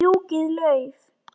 Fjúkiði lauf.